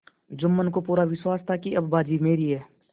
जुम्मन को पूरा विश्वास था कि अब बाजी मेरी है